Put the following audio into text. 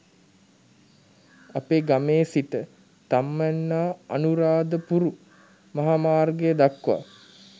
අපේ ගමේ සිට තම්මැන්නාඅනුරාධපුරු මහාමාර්ගය දක්වා